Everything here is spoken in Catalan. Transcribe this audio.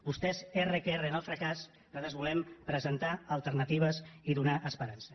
vostès erra que erra amb el fracàs nosaltres volem presentar alternatives i donar esperança